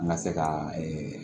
An ka se ka